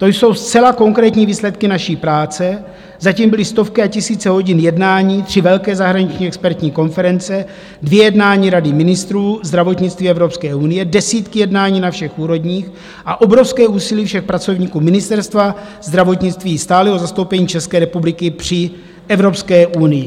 To jsou zcela konkrétní výsledky naší práce, za tím byly stovky a tisíce hodin jednání, tři velké zahraniční expertní konference, dvě jednání Rady ministrů zdravotnictví Evropské unie, desítky jednání na všech úrovních a obrovské úsilí všech pracovníků Ministerstva zdravotnictví, stálého zastoupení České republiky při Evropské unii.